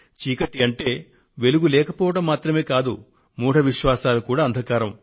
చీకటి అంటే వెలుగు లేకపోవడం మాత్రమే కాదు మూఢ విశ్వాసాలు కూడా అంధకారం